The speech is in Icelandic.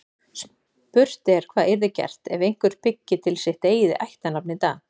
Spurt er hvað yrði gert ef einhver byggi til sitt eigið ættarnafn í dag.